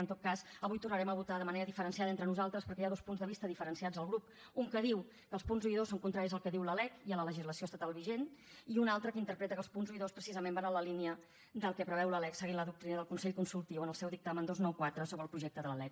en tot cas avui tornarem a votar de manera diferenciada entre nosaltres perquè hi ha dos punts de vista diferenciats al grup un que diu que els punts un i dos són contraris al que diu la lec i a la legislació estatal vigent i un altre que interpreta que els punts un i dos precisament van en la línia del que preveu la lec seguint la doctrina del consell consultiu en el seu dictamen dos cents i noranta quatre sobre el projecte de la lec